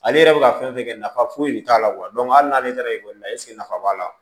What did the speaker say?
Ale yɛrɛ bɛ ka fɛn fɛn kɛ nafa foyi de t'a la hali n'ale taara ekɔli la eseke nafa b'a la